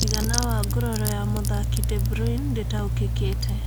Mũigana wa nguraro ya mũthaki De Bruyne ndũtaũkĩkĩte